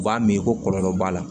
U b'a min ko kɔlɔlɔ b'a la